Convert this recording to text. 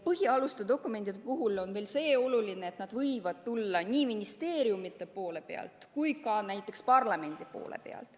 Põhialuste dokumentide puhul on oluline veel see, et need võivad tulla nii ministeeriumidelt kui ka näiteks parlamendilt.